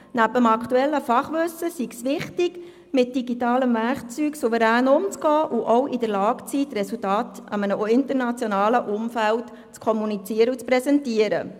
Neben dem aktuellen Fachwissen sei es wichtig, mit digitalem Werkzeug souverän umzugehen und auch in der Lage zu sein, die Resultate in einem internationalen Umfeld zu präsentieren.